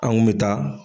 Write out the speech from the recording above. An kun bɛ taa